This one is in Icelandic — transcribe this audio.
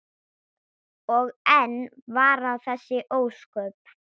Og enn vara þessi ósköp.